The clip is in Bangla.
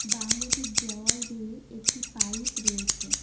বাংলোটির দেওয়াল বেয়ে একটি পাইপ রয়েছে।